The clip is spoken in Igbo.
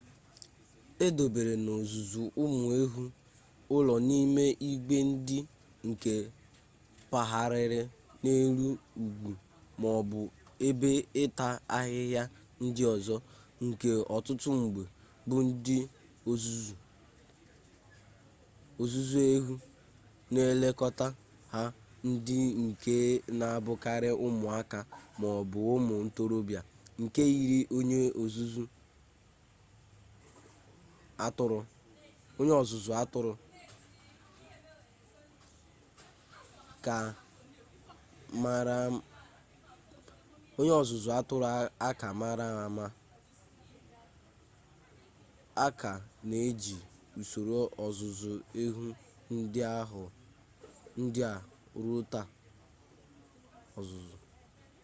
e dobere n'ozuzu ụmụ ehu ụlọ n'ime igwe ndị nke pagharịrị n'elu ugwu ma ọ bụ ebe ịta ahịhịa ndị ọzọ nke ọtụtụ mgbe bụ ndị ọzụzụ ehu na-elekọta ha ndị nke na abụkarị ụmụaka ma ọ bụ ụmụ ntorọbịa nke yiri onye ọzụzụ atụrụ a ka mara ama a ka na-eji usoro ọzụzụ ehu ndị a ruo taa